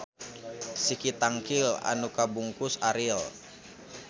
Siki tangkil anu kabungkus aril.